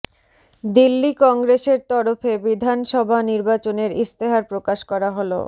দিল্লি কংগ্রেসের তরফে বিধানসভা নির্বাচনের ইস্তেহার প্রকাশ করা হল